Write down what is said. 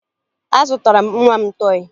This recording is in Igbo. Azụtara m nwa m tọọyị